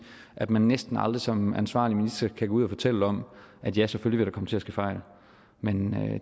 at man næsten aldrig som ansvarlig minister kan gå ud og fortælle om ja selvfølgelig vil der komme til at ske fejl men